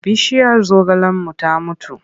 Bishiyar zogalenmu ta mutu.